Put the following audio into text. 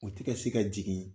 U tɛ ka se ka jigin